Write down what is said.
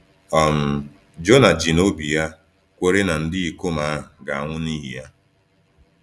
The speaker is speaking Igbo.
um Jona ji n’obi ya kwere na ndị ikom ahụ ga-anwụ n’ihi ya!